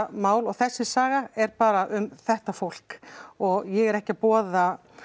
mál og þessi saga er bara um þetta fólk og ég er ekki að boða